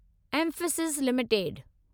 Mphasis limited